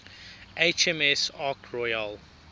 hms ark royal